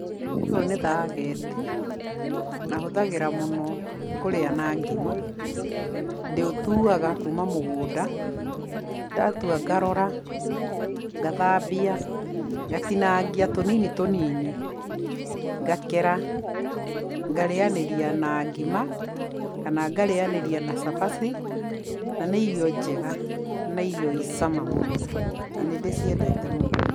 Ũyũ nĩ thageti, na hũthagĩra mũno kũrĩa na ngima. Ndĩũtuaga kuuma mũgũnda, ndatua ngarora, ngathambia, ngatinangia tũnini tũnini, ngakera, ngarĩyanĩria na ngima kana ngarĩnyanĩria na cabaci, na nĩ irio njega na irio i cama mũno na nĩ ndĩciendete mũno.